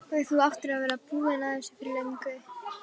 Og þú áttir að vera búinn að þessu fyrir löngu!